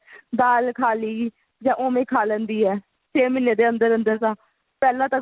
ਦਾਲ ਖਾ ਲਈ ਜਾ ਓਵੇਂ ਖਾ ਲੈਂਦੀ ਏ ਛੇ ਮਹੀਨੇ ਦੇ ਅੰਦਰ ਅੰਦਰ ਤਾਂ ਪਹਿਲਾਂ ਤਾਂ